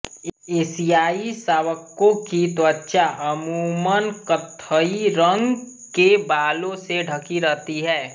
एशियाई शावकों की त्वचा अमूमन कत्थई रंग के बालों से ढकी रहती है